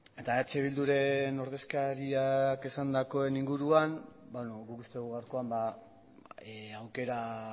eta eh bilduren ordezkariak esandakoaren inguruan guk uste dugu gaurkoan aukera